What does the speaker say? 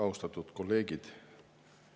Austatud kolleegid!